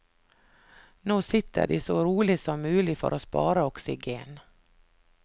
Nå sitter de så rolig som mulig for å spare oksygen.